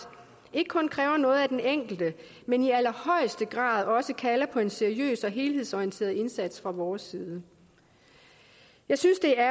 ikke kun kræver noget af den enkelte men i allerhøjeste grad også kalder på en seriøs og helhedsorienteret indsats fra vores side jeg synes det er